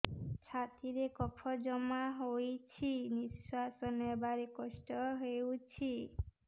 ଛାତିରେ କଫ ଜମା ହୋଇଛି ନିଶ୍ୱାସ ନେବାରେ କଷ୍ଟ ହେଉଛି